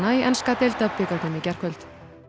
í enska deildabikarnum í gærkvöld